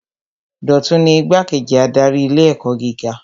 Dọ̀tun ni Igbá-kejì adarí ilé ẹ̀kọ́ gíga